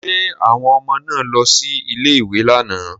Ṣé àwọn ọmọ náà lọ sí ilé-ìwé lánàá?